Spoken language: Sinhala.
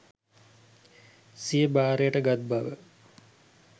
සිය භාරයට ගත් බව